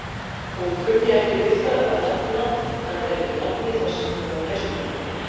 Hún kunni ekki við að nefna hann réttu nafni þar sem hún var gestkomandi.